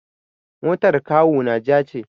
Motar kawuna ja ce.